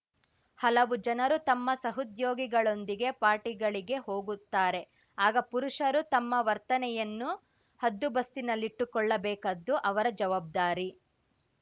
ಹಲವು ಜನರು ತಮ್ಮ ಸಹೋದ್ಯೋಗಿಗಳೊಂದಿಗೆ ಪಾರ್ಟಿಗಳಿಗೆ ಹೋಗುತ್ತಾರೆ ಆಗ ಪುರುಷರು ತಮ್ಮ ವರ್ತನೆಯನ್ನು ಹದ್ದುಬಸ್ತಿನಲ್ಲಿಟ್ಟುಕೊಳ್ಳಬೇಕಾದ್ದು ಅವರ ಜವಾಬ್ದಾರಿ